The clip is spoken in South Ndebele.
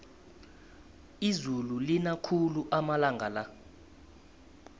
izulu lina khulu amalanga la